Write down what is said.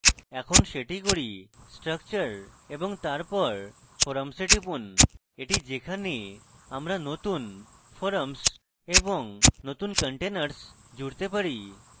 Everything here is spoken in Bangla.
এখন সেটি করি structure এবং তারপর forums we টিপুন এটি যেখানে আমরা নতুন forums এবং নতুন containers জুড়তে পারি